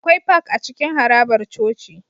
Akwai Park a cikin harabar coci